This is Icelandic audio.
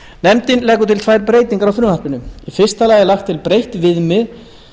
nefndin leggur til tvær breytingar á frumvarpinu í fyrsta lagi er lagt til breytt viðmið